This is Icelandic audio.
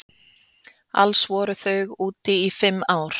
Alls voru þau úti í fimm ár.